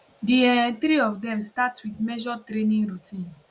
di um three of dem start wit measured training routine